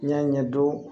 N y'a ɲɛdɔn